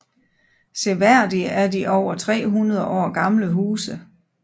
Seværdige er de over 300 år gamle huse